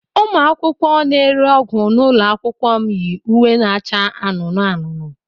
Ụmụ akwụkwọ na-ere ọgwụ n'ụlọ akwụkwọ m yi uwe na-acha anụnụ anụnụ.